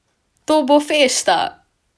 To bo fešta!